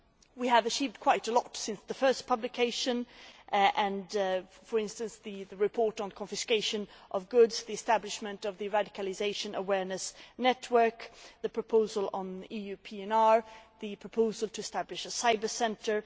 We have achieved quite a lot since the first publication for instance the report on confiscation of goods, the establishment of the radicalisation awareness network, the proposal on EU PNR, and the proposal to establish a cyber centre.